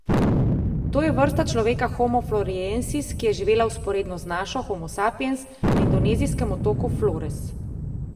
To je vrsta človeka homo floreniensis, ki je živela vzporedno z našo, homo sapiens, na indonezijskem otoku Flores.